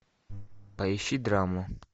поищи драму